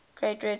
great red spot